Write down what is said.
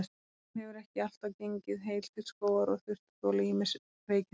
Hún hefur ekki alltaf gengið heil til skógar og þurft að þola ýmis veikindi.